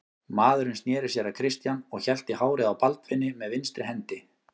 Maðurinn sneri sér að Christian og hélt í hárið á Baldvini með vinstri hendi.